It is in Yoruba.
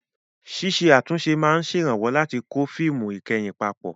Ṣíṣe àtúnṣe máa ń ṣèrànwọ́ láti kó fíìmù ìkẹyìn papọ̀.